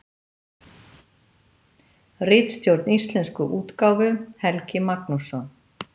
Ritstjórn íslensku útgáfu: Helgi Magnússon.